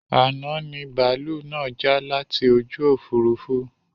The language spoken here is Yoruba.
Àná ni bàálú náà já láti ojú Òfurufú